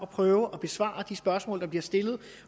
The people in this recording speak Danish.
prøve at besvare de spørgsmål der bliver stillet